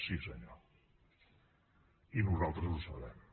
sí senyor i nosaltres ho sabem